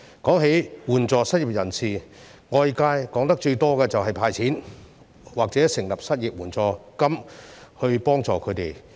關於援助失業人士，外界談論得最多的是以"派錢"或成立失業援助金來協助他們。